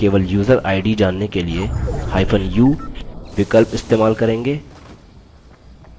केवल user id जानने के लिए hyphen u विकल्प इस्तेमाल करेंगे